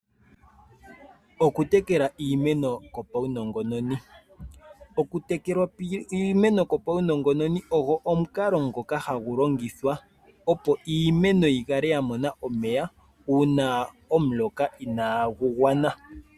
Okutekela iimeno kwopaunongononi. Okutekela iimeno kwopaunongononi ogo omukalo ngoka hagu longithwa opo iimeno yi kale ya mona omeya, uuna omuloka inaagu gwana.